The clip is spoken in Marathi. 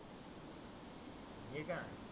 मी का